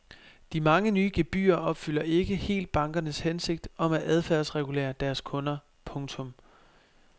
De mange nye gebyrer opfylder ikke helt bankernes hensigt om at adfærdsregulere deres kunder. punktum